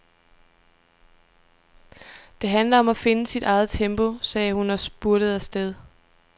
Det handler om at finde sit eget tempo, sagde hun og spurtede afsted.